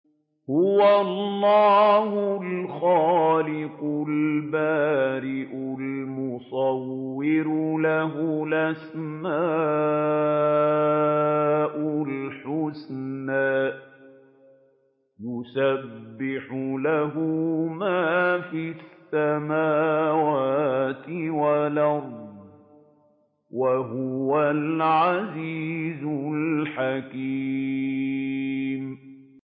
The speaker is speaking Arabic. هُوَ اللَّهُ الْخَالِقُ الْبَارِئُ الْمُصَوِّرُ ۖ لَهُ الْأَسْمَاءُ الْحُسْنَىٰ ۚ يُسَبِّحُ لَهُ مَا فِي السَّمَاوَاتِ وَالْأَرْضِ ۖ وَهُوَ الْعَزِيزُ الْحَكِيمُ